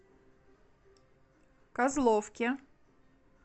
козловке